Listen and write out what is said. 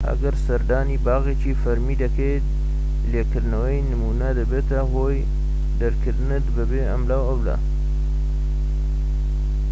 ئەگەر سەردانی باخێکی فەرمی دەکەیت لێکردنەوەی نمونە دەبێتە هۆی دەرکردنت بەبێ ئەملاولا